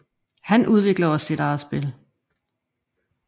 Han udvikler også sit eget spil